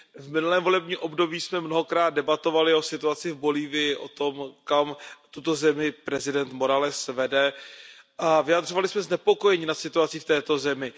V minulém volebním období jsme mnohokrát debatovali o situaci v Bolívii, o tom, kam tuto zemi prezident Morales vede, a vyjadřovali jsme znepokojení nad situací v této zemi.